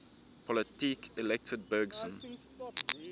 politiques elected bergson